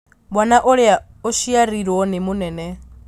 Mwana ũrĩa ũciarirwo nĩ mũnene